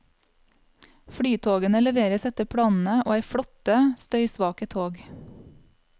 Flytogene leveres etter planene, og er flotte, støysvake tog.